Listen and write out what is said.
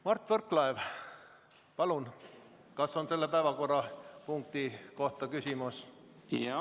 Mart Võrklaev, kas selle päevakorrapunkti kohta on küsimus?